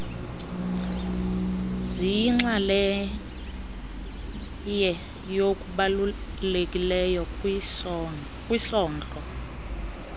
ziyinxaleye yokubalulekileyo kwisondlo